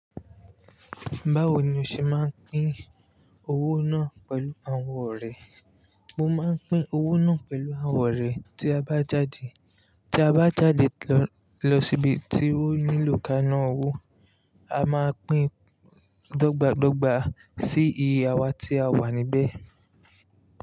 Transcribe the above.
Báwo ni o ṣe máa ń pín owó náà pẹ̀lú àwọn ọ̀rẹ́? Mo máa ń pín owó náà pẹ̀lú àwọn ọ̀rẹ́ tí a bá jáde. Tí a bá jáde lọ, lọ síbi tí ó nílò kaa ná owó, a máa pín dọ́gba dọ́gba sí iye àwa tí a wà níbẹ̀.